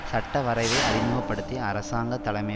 சட்டவரைவை அறிமுக படுத்திய அரசாங்க தலைமை